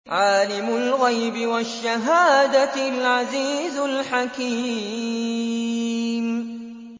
عَالِمُ الْغَيْبِ وَالشَّهَادَةِ الْعَزِيزُ الْحَكِيمُ